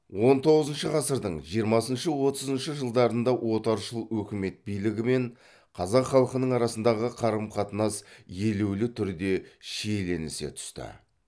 он тоғызыншы ғасырдың жиырмасыншы отызыншы жылдарында отаршыл өкімет билігі мен қазақ халқының арасындағы қарым қатынас елеулі түрде шиеленісе түсті